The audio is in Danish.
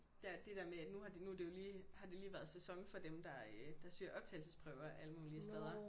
Der er det der med at nu har det du det jo lige har det lige været sæson for dem der øh søger optagelsesprøver alle mulige steder